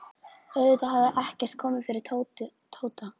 Auðvitað hafði ekkert komið fyrir Tóta.